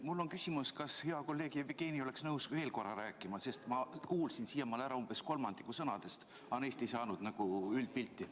Mul on küsimus, kas hea kolleeg Jevgeni oleks nõus veel korra rääkima, sest ma kuulsin siiamaale ära umbes kolmandiku sõnadest, aga neist ei saanud üldpilti.